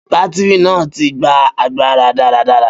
Batiri naa ti gba agbara daradara